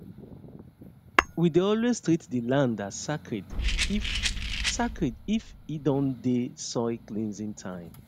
we dey always treat the land as sacred if sacred if e don dey soil cleansing time